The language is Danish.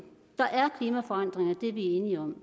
der er klimaforandringer det er vi enige om